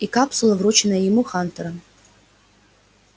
и капсула вручённая ему хантером